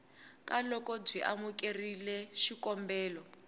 ka loko byi amukerile xikombelo